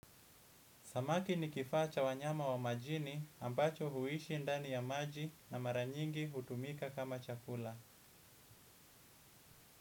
Samaki ni kifaa cha wanyama wa majini ambacho huishi ndani ya maji na maranyingi hutumika kama chakula.